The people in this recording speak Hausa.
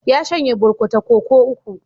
Ya shanye burkuta koko uku.